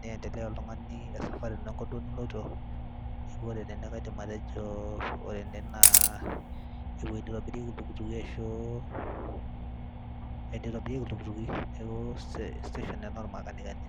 niendelea oltung'ani e safari duo enkop niloito. Neeku ore tene kaidim atejo ore ene naa ewoi nitobirieki ntukutuki ashuu enitobirieki iltukutuki. Neeku station ena ormakanikani.